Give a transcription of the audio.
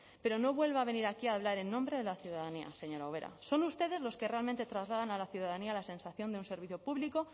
pero no vuelva a venir aquí a hablar en nombre de la ciudadanía señora ubera son ustedes los que realmente trasladan a la ciudadanía la sensación de un servicio público